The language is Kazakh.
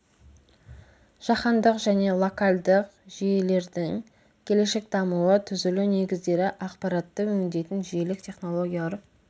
жаһандық және локальдік жүйелердің келешек дамуы түзілу негіздері ақпаратты өңдейтін жүйелік технологиялар